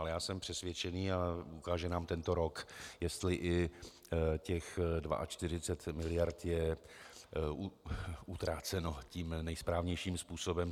Ale já jsem přesvědčený a ukáže nám tento rok, jestli i těch 42 miliard je utraceno tím nejsprávnějším způsobem.